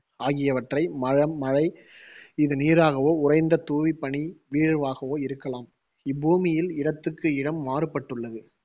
ஆகியவற்றை ம~ மழை இது நீராகவோ, உறைந்த தூவிப்பனி வீழ்வாகவோ இருக்கலாம் இப்பூமியில் இடத்துக்கு இடம் மாறுபட்டுள்ளது.